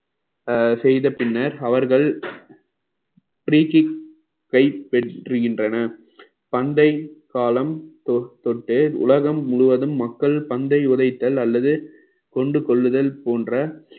அஹ் செய்த பின்னர் அவர்கள் preking கைப்பெற்றுகின்றன பண்டை காலம் தொ~ தொட்டே உலகம் முழுவதும் மக்கள் பந்தை உதைத்தல் அல்லது கொண்டு செல்லுதல் போன்ற